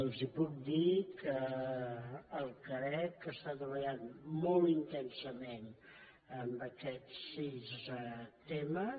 els puc dir que el carec està treballant molt intensament en aquests sis temes